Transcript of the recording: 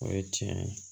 O ye tiɲɛ ye